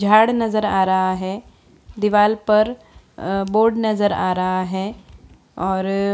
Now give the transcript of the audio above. झाड़ नजर आ रहा है दीवाल पर बोर्ड नजर आ रहा है